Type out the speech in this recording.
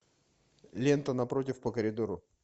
лента напротив по коридору